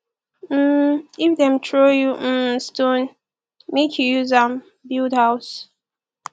um if dem throw you um stone make you use am build house